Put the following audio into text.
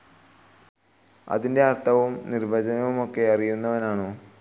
അതിൻ്റെ അർത്ഥവും നിർവചനവുമൊക്കെ അറിയുന്നവനാണോ?